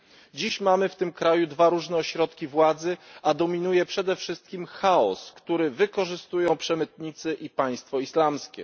Dziś mamy w tym kraju dwa różne ośrodki władzy, a dominuje przede wszystkim chaos, który wykorzystują przemytnicy i Państwo Islamskie.